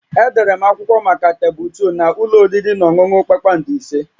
Edere m akwụkwọ maka tebụl 2 na ụlọ oriri na ọṅụṅụ kpakpando ise